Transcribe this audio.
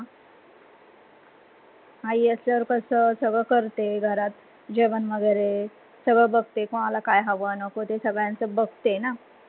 हा आई असल्यावर कस सगळ करते घरात. जेवन वगैरे सगळ बघते कोनाला काय हव नको ते सगल्याच बघते न.